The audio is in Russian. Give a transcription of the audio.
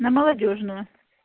на молодёжную